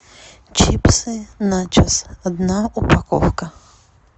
чипсы начес одна упаковка